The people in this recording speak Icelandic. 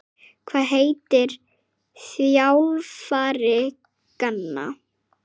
Hvað heitir þjálfari Gana?